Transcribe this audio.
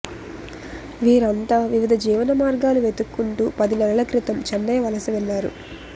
వీరంతా వివిధ జీవన మార్గాలు వెతుక్కుంటూ పది నెలల క్రితం చెన్నై వలస వెళ్లారు